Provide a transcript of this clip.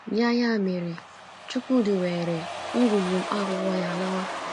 Ya Ya mere, Chukwudi weere ngwugwu mkpá akwụkwọ ya lawa.